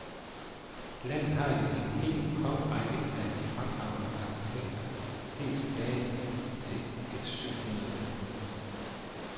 Landet har jo en hel kongerække af fremragende arkitekter, helt tilbage til et syv hundrede tallet.